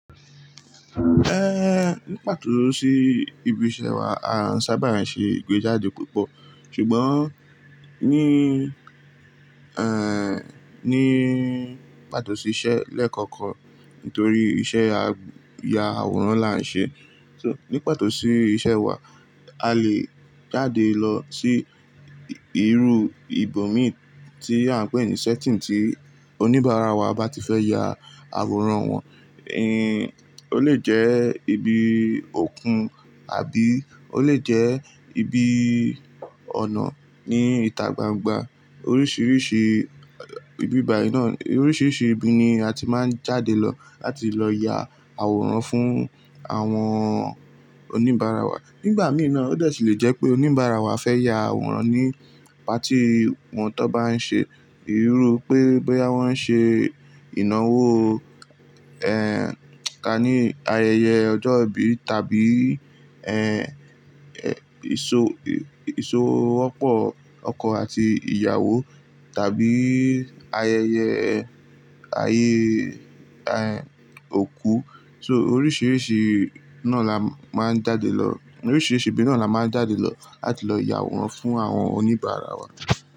Ehn, ní pàtó sì ibi iṣẹ́ wa, àán sábà n ṣe ìgbéjáde púpọ̀. Ṣùgbọ́n ní, ehn, ní pàtó sì iṣẹ́ lẹ́ẹ̀kọ̀kọ̀n nítorí iṣẹ́ ya àwòrán la ń ṣe. So, ní pàtó sì iṣẹ́ wa, a lè jáde lọ sí ìrú ibòmí tí à ń pè ní setting tí oníbàárà wa bá ti fẹ́ ya àwòrán wọn. Ehn, ó lè jẹ́ ibi òkun àbí ó lè jẹ́ ibi ọ̀nà ní ìta gbangba. Oríṣìíríṣìí ìbíbayí náà, oríṣìíríṣìí ibi ni a ti máa ń jáde lọ láti lọ ya àwòrán fún àwọn oníbàárà wa. Nígbà mìí na ó de si lè jẹ́ pé oníbàárà wa fẹ́ ya àwòrán ní patí wọn tó bá ń ṣe ìrú pé bóyá wọ́n ṣe ìnáwó, ehn, ká ní ayẹyẹ ọjọ́ ìbí tàbí, ehn, èso, èso ọ̀pọ̀ ọkọ àti ìyàwó tàbí ayẹyẹ ayé, ehn, òkú. So oríṣìíríṣìí náà la máa ń jáde lọ. Oríṣìíríṣìí ibi náà la máa ń jáde lọ láti lọ ya àwòrán fún àwọn oníbàárà wa.